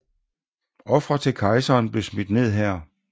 Ofre til kejseren blev smidt ned her